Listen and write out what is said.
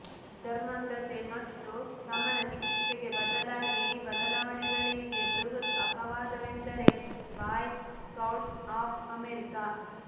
ಧರ್ಮಾಂಧತೆ ಮತ್ತು ಸಮಾನ ಚಿಕಿತ್ಸೆಗೆ ಬದಲಾಗಿ ಈ ಬದಲಾವಣೆಗಳಿಗೆ ಬೃಹತ್ ಅಪವಾದವೆಂದರೆ ಬಾಯ್ ಸ್ಕೌಟ್ಸ್ ಆಫ್ ಅಮೆರಿಕಾ